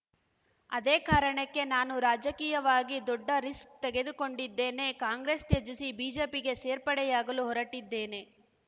ಅದೇ ಕಾರಣಕ್ಕೆ ನಾನು ರಾಜಕೀಯವಾಗಿ ದೊಡ್ಡ ರಿಸ್ಕ್‌ ತೆಗೆದುಕೊಂಡಿದ್ದೇನೆ ಕಾಂಗ್ರೆಸ್‌ ತ್ಯಜಿಸಿ ಬಿಜೆಪಿಗೆ ಸೇರ್ಪಡೆಯಾಗಲು ಹೊರಟಿದ್ದೇನೆ